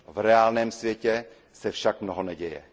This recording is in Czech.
V reálném světě se však mnoho neděje.